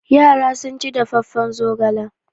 Yara sun ci dafaffen zogala.